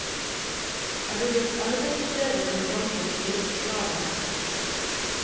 Er du blitt arbeidsledig, kan banken fire på kravene.